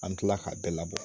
An kila ka bɛɛ labɔ